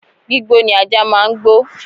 Gbígbó ni ajá máa ń gbó